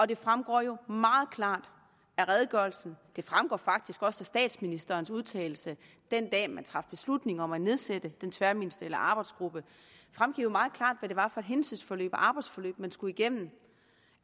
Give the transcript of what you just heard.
det fremgår jo meget klart af redegørelsen det fremgår faktisk også af statsministerens udtalelse den dag man traf beslutning om at nedsætte den tværministerielle arbejdsgruppe hvad det var for et hændelsesforløb og arbejdsforløb man skulle igennem